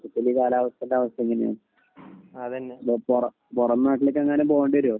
ഇനിയിപ്പോ കാലാവസ്ഥയൊക്കെ ഇങ്ങനെയാണ് . പുറം നാട്ടിലൊക്കെ പോകേണ്ടി വരുമോ